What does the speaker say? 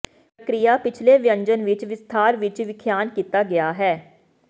ਪ੍ਰਕਿਰਿਆ ਪਿਛਲੇ ਵਿਅੰਜਨ ਵਿੱਚ ਵਿਸਥਾਰ ਵਿੱਚ ਵਿਖਿਆਨ ਕੀਤਾ ਗਿਆ ਹੈ